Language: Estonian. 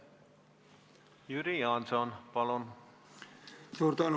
Jüri Jaanson, palun!